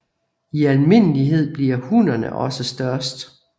I almindelighed bliver hunnerne også størst